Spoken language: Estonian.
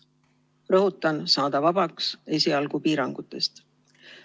Rõhutan, saada vabaks esialgu piirangutest.